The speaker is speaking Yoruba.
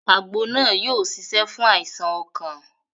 Àgbo náà yóò ṣiṣẹ́ fún àìsàn ọkàn